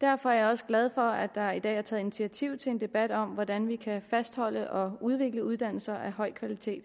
derfor er jeg også glad for at der i dag er taget initiativ til en debat om hvordan vi kan fastholde og udvikle uddannelse af høj kvalitet